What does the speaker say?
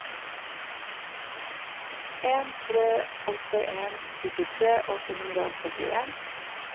en tre åtte en syttitre åtte hundre og førtien